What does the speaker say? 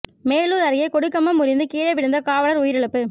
மேலூா் அருகே கொடி கம்பம் முறிந்து கீழே விழுந்த காவலா் உயிரிழப்பு